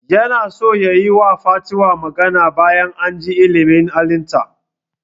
Yana so yayi wa fatima magana bayan ajin ilimin halitta